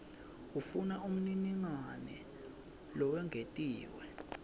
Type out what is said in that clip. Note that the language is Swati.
ufuna umniningwane lowengetiwe